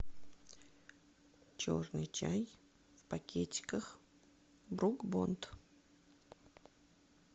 черный чай в пакетиках брук бонд